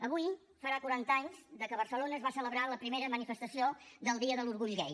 avui farà quaranta anys que a barcelona es va celebrar la primera manifestació del dia de l’orgull gai